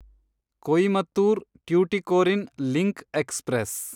Coimbatore Tuticorin link express